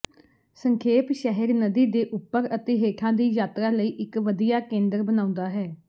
ਸੰਖੇਪ ਸ਼ਹਿਰ ਨਦੀ ਦੇ ਉੱਪਰ ਅਤੇ ਹੇਠਾਂ ਦੀ ਯਾਤਰਾ ਲਈ ਇਕ ਵਧੀਆ ਕੇਂਦਰ ਬਣਾਉਂਦਾ ਹੈ